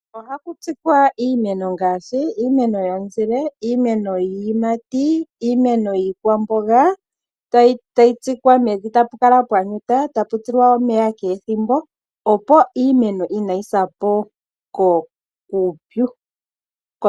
Ohaku tsikwa iimeno ngaashi iimeno yomuzile, iimeno yiiyimati, iimeno yiikwamboga tayi tsikwa mevi tapu kala pwa tuta, tapu tilwa omeya kehe ethimbo opo iimeno inayi sapo kuupyu.